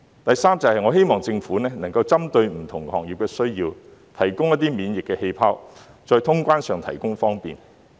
第三，我希望政府能夠針對不同行業的需要，提供"免疫氣泡"，在通關上提供方便。